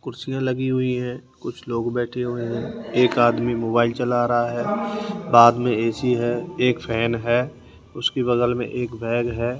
कुर्सियां लगीं हुईं है कुछ लोग बैठे हुए हैं एक आदमी मोबाइल चला रहा है बाद में ए_सी है एक फेन है उसके बगल में एक बैग है।